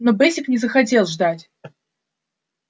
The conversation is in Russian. но бэсик не захотел ждать